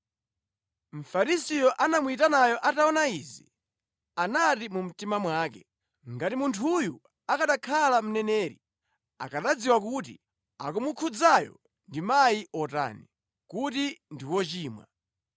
Mfarisiyo anamuyitanayo ataona izi, anati mu mtima mwake, “Ngati munthuyu akanakhala mneneri, akanadziwa kuti akumukhudzayo ndi mayi otani, kuti ndi wochimwa.”